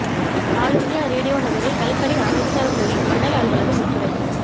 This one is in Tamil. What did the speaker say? ஆல் இந்தியா ரேடியோ நகரில் கழிப்பறை அமைத்து தர கோரி மண்டல அலுவலகம் முற்றுகை